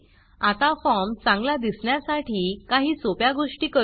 आता फॉर्म चांगला दिसण्यासाठी काही सोप्या गोष्टी करू